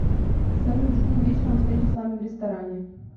салют жду вечером встречи с вами в ресторане